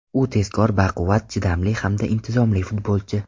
U tezkor, baquvvat, chidamli hamda intizomli futbolchi.